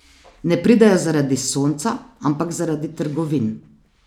Ne pridejo zaradi sonca, ampak zaradi trgovin.